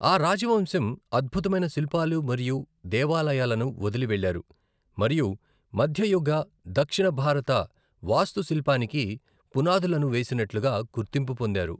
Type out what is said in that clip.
ఆ రాజవంశం అద్భుతమైన శిల్పాలు మరియు దేవాలయాలను వదిలి వెళ్లారు మరియు మధ్యయుగ దక్షిణ భారత వాస్తుశిల్పానికి పునాదులను వేసినట్లుగా గుర్తింపు పొందారు.